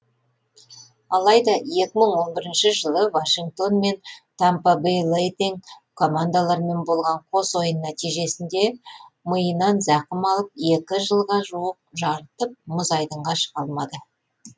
алайда екі мың он бірінші жылы вашингтон мен тампа бей лайтинг командаларымен болған қос ойын нәтижесінде миынан зақым алып екі жылға жуық жарытып мұз айдынға шыға алмады